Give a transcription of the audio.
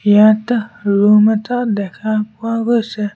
ইয়াতা room এটা দেখা পোৱা গৈছে।